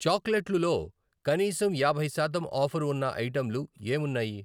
చాక్లెట్లు లో కనీసం యాభై శాతం ఆఫరు ఉన్న ఐటెంలు ఏమున్నాయి?